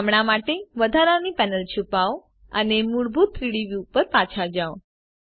હમણાં માટે વધારાની પેનલ છુપાવો અને મૂળભૂત 3ડી વ્યુ ઉપર પાછા જાઓ